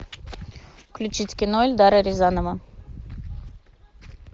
включить кино эльдара рязанова